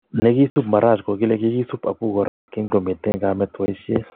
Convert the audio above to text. Nekisuub Maraj kokile kikisuub apukoraa kinkomiten kaamet boisiet